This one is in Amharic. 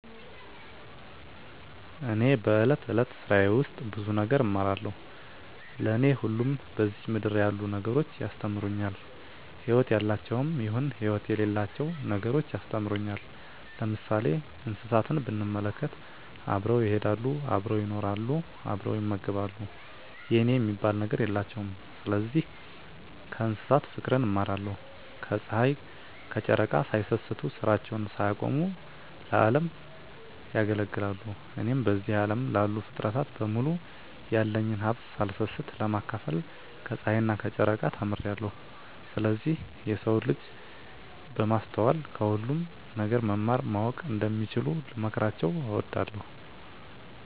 እኔ በእለት እለት ስራየ ውስጥ ብዙ ነገር እማራለሁ። ለኔ ሁሉም በዝች ምድር ያሉ ነገሮች ያስተምሩኛል ህይወት ያላቸውም ይሁን ህይወት የሌላቸው ነገሮች ያስተምሩኛል። ለምሳሌ እንስሳትን ብንመለከት አብረው ይሄዳሉ አብረው ይኖራሉ አብረው ይመገባሉ የኔ የሚባል ነገር የላቸውም ስለዚህ ከእንስሳት ፉቅርን እማራለሁ። ከጽሀይ ከጨረቃ ሳይሰስቱ ስራቸውን ሳያቆሙ ለዚህ አለም ያገለግላሉ። እኔም በዚህ አለም ላሉ ፉጥረታት በሙሉ ያለኝን ሀብት ሳልሰስት ለማካፈል ከጸሀይና ከጨረቃ ተምሬአለሁ። ስለዚህ የሰው ልጅ በማስተዋል ከሁሉም ነገር መማር ማወቅ እንደሚችሉ ልመክራቸው እወዳለሁ።